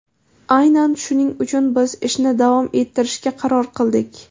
Aynan shuning uchun biz ishni davom ettirishga qaror qildik”.